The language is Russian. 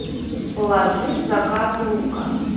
положи в заказ лука